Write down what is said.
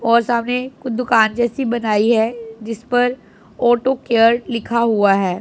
और सामने दुकान जैसी बनाई है जिस पर ऑटो केयर लिखा हुआ है।